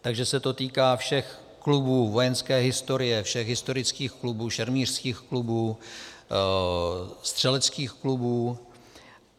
Takže se to týká všech klubů vojenské historie, všech historických klubů, šermířských klubů, střeleckých klubů.